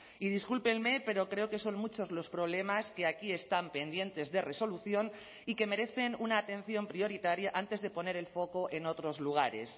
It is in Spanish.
y discúlpenme pero creo que son muchos los problemas que aquí están pendientes de resolución y que merecen una atención prioritaria antes de poner el foco en otros lugares